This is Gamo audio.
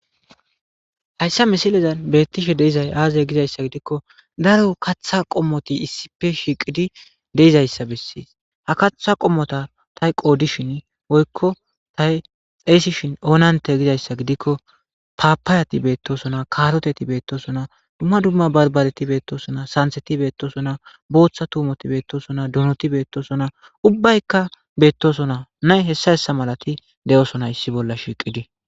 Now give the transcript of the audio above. Haysa misilezan beetishe dizaysi aaze gizaysa gidikon, daro katha qomot issippe shiqid de'izaysa beses. Ha katha qomota ta woosishin woyko ta xeyisishn Oonante gizaysa gidikon , Papayati betosona, karoteti betosona, dumma dumma barbareti betosona, santheti betosona,bootha tuumoti betosona, donoti betosona, ubbayka betosonanne h.h.m de'osona issi bolla shiqid.